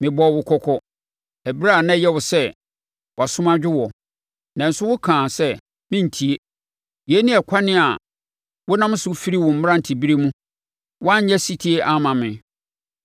Mebɔɔ wo kɔkɔ, ɛberɛ a na ɛyɛ wo sɛ wʼasom adwo wo, nanso wokaa sɛ, ‘Merentie!’ Yei ne ɛkwan a wonam so firi wo mmerante berɛ mu; woanyɛ ɔsetie amma me.